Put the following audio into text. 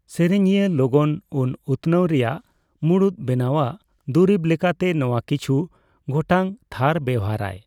ᱥᱮᱨᱮᱧᱤᱭᱟᱹ ᱞᱚᱜᱚᱱ ᱩᱱ ᱩᱛᱱᱟᱹᱣ ᱨᱮᱭᱟᱜ ᱢᱩᱲᱩᱛ ᱵᱮᱱᱟᱣ ᱟᱜ ᱫᱩᱨᱤᱵ ᱞᱮᱠᱟᱛᱮ ᱱᱚᱣᱟ ᱠᱤᱪᱷᱩ ᱜᱚᱴᱟᱝ ᱛᱷᱟᱨ ᱵᱮᱣᱦᱟᱨᱟᱭ ᱾